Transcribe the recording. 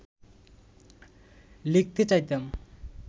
লিখতে চাইতাম